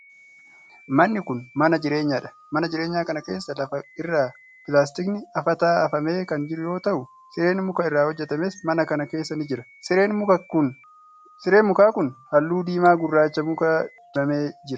Manni kun, mana jireenyaa dha. Mana jireenyaa kana keessa lafa irra pilaastikni afataa afamee kan jiru yoo ta'u, sireen muka irraa hojjatames mana kana keessa ni jira. Sireen mukaa kun, haalluu diimaa gurraacha mukaa dibamee jira.